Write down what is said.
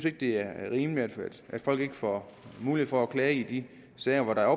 ikke det er rimeligt at folk ikke får mulighed for at klage i de sager hvor der